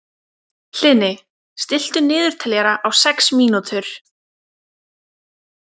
Hlini, stilltu niðurteljara á sex mínútur.